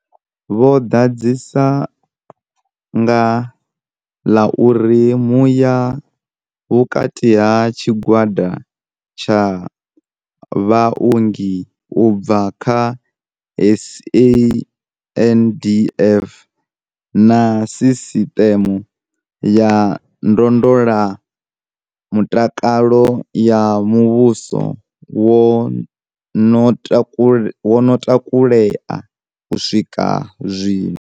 Vho ḓadzisa nga ḽa uri muya vhukati ha tshigwada tsha vhaongi u bva kha SANDF na sisiṱeme ya ndondolamutakalo ya muvhuso wo no takulea u swika zwino.